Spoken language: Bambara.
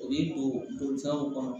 U b'i don bolifɛnw kɔnɔ